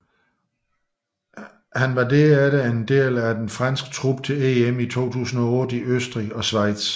Han var efterfølgende en del af den franske trup til EM i 2008 i Østrig og Schweiz